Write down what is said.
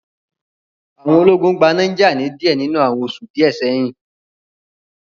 Àwọn ológun gba Niger ni díẹ̀ nínú àwọn oṣù díẹ̀ sẹ́hi